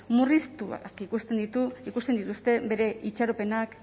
murriztu ikusten dituzte bere itxaropenak